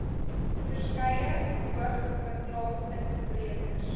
verskeie hoogeplaasde sprekers